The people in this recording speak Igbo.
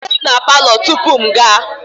Zute m na palọ tupu m aga!